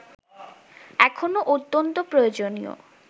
এখনো অত্যন্ত প্রয়োজনীয়